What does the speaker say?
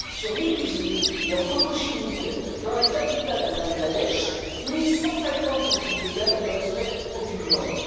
Sur 1000 usines et entrepôts chimiques dans la capitale du Bangladesh, 850 sont illégaux et ne respectent aucune norme.